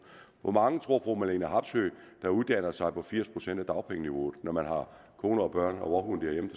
hvor mange tror fru marlene harpsøe der uddanner sig på firs procent af dagpengeniveauet når man har kone børn og vovhund derhjemme